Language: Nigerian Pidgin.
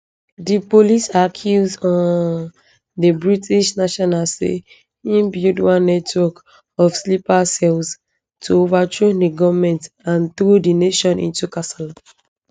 di police accuse um di british national say im build one network of sleeper cells to overthrow di goment and throw di nation into kasala